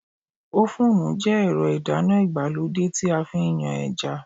Ófùnù jẹ́ ẹ̀rọ ìdáná ìgbàlódé tí a fi ń yan ẹja